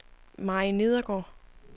Mary Nedergaard